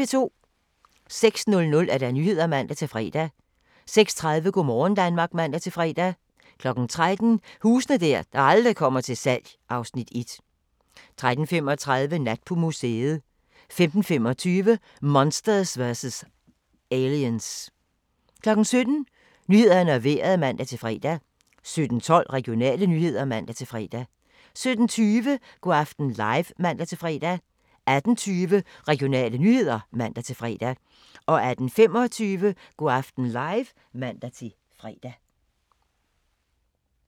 06:00: Nyhederne (man-fre) 06:30: Go' morgen Danmark (man-fre) 13:00: Huse der aldrig kommer til salg (Afs. 1) 13:35: Nat på museet 15:25: Monster's vs Aliens 17:00: Nyhederne og Vejret (man-fre) 17:12: Regionale nyheder (man-fre) 17:20: Go' aften live (man-fre) 18:20: Regionale nyheder (man-fre) 18:25: Go' aften live (man-fre)